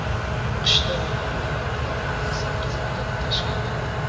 Qishda u yerda qor uyumi sakkiz metrni tashkil qiladi.